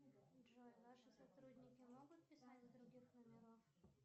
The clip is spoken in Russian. джой ваши сотрудники могут писать с других номеров